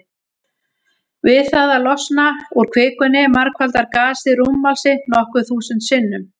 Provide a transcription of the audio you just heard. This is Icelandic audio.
Við það að losna úr kvikunni margfaldar gasið rúmmál sitt nokkur þúsund sinnum.